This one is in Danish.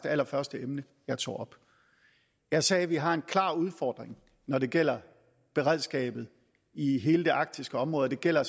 allerførste emne jeg tog op jeg sagde vi har en klar udfordring når det gælder beredskabet i hele det arktiske område og det gælder